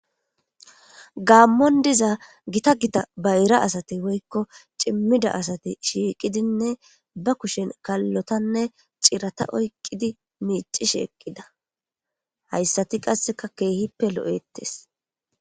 Gamon diza gita gita bayra asati woykko cimmida asati shiiqidinne ba kushen kallotanne cirata oyqqidi miici sheeqqida hayssati qasseka keehippe lo'ettes